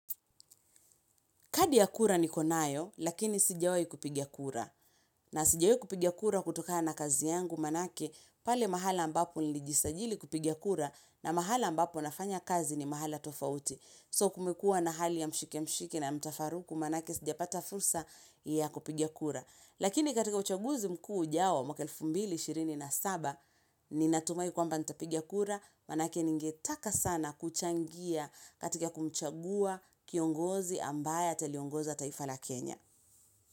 Kadi ya kura niko nayo, lakini sijawahi kupigia kura. Na sijawahi kupigia kura kutokaa na kazi yangu, maanake, pale mahala ambapo nilijisajili kupigia kura, na mahala ambapo nafanya kazi ni mahala tofauti. So kumekuwa na hali ya mshike mshike na mtafaruku, maanake sijapata fursa ya kupiga kura. Lakini katika uchaguzi mkuu ujao mwaka wa elfu mbili, shirini na saba, ni natumai kwamba nitapigia kura, manaake ningetaka sana kuchangia katika kumchagua kiongozi ambaye ataliongoza taifa la Kenya.